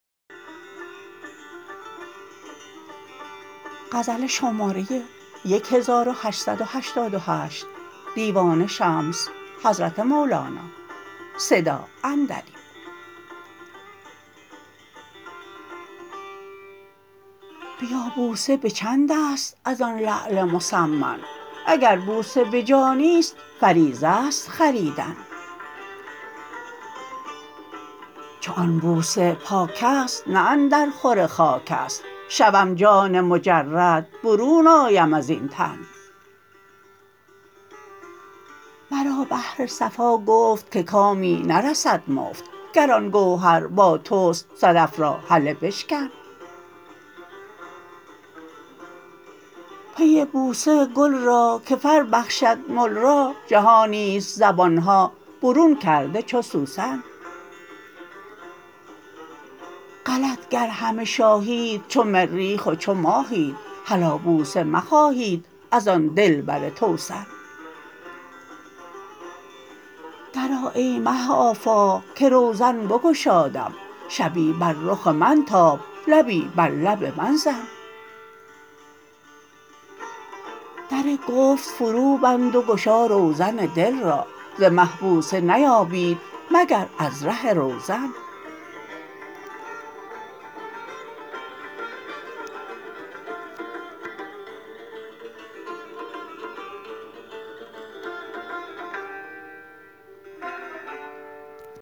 بیا بوسه به چند است از آن لعل مثمن اگر بوسه به جانی است فریضه است خریدن چو آن بوسه پاک است نه اندرخور خاک است شوم جان مجرد برون آیم از این تن مرا بحر صفا گفت که کامی نرسد مفت گر آن گوهر با توست صدف را هله بشکن پی بوسه گل را که فر بخشد مل را جهانی است زبان ها برون کرده چو سوسن غلط گر همه شاهید چو مریخ و چو ماهید هلا بوسه مخواهید از آن دلبر توسن درآ ای مه آفاق که روزن بگشادم شبی بر رخ من تاب لبی بر لب من زن در گفت فروبند و گشا روزن دل را ز مه بوسه نیابید مگر از ره روزن